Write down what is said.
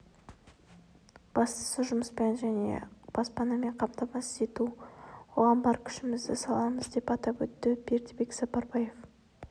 бастысы жұмыспен және баспанамен қамтамасыз ету оған бар күшімізді саламыз деп атап өтті бердібек сапарбаев